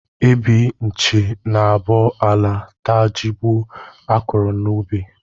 Ebi nchi na-abọ ala, taa jigbọ a kụrụ n'ubi